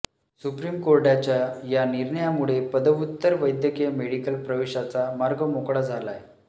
supreme कोर्टाच्या या निर्णयामुळे पदव्युत्तर वैद्यकीय मेडिकल प्रवेशाचा मार्ग मोकळा झालाय